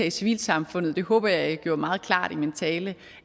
i civilsamfundet jeg håber at jeg gjorde meget klart i min tale